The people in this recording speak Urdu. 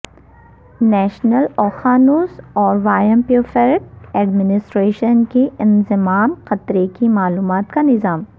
نیشنل اوقیانوس اور وایمپوفیرک ایڈمنسٹریشن کے انضمام خطرے کی معلومات کے نظام